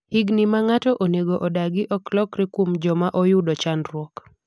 higni ma ng'ato onego odagi ok lokre kuom joma oyudo chandruok